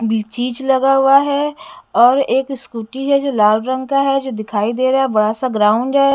चीज़ लगा हुआ है और एक स्कूटी है जो लाल रंग का है जो दिखाई दे रहा है बड़ा-सा ग्राउंड है।